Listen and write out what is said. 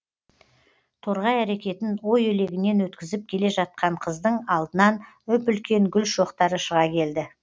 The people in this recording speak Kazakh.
торғай әрекетін ой елегінен өткізіп келе жатқан қыздың алдынан үп үлкен гүл шоқтары шыға келді